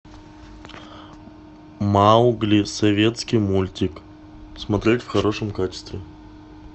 маугли советский мультик смотреть в хорошем качестве